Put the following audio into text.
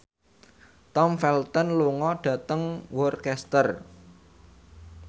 Tom Felton lunga dhateng Worcester